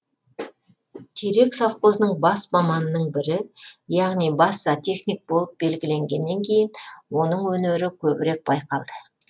терек совхозының бас маманының бірі яғни бас зоотехник болып белгіленгеннен кейін оның өнері көбірек байқалды